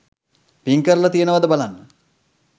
පිං කරලා තියනවාද බලන්න